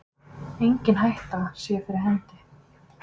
Engin hætta sé fyrir hendi